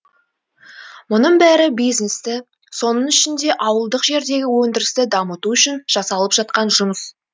мұның бәрі бизнесті соның ішінде ауылдық жердегі өндірісті дамыту үшін жасалып жатқан жұмыс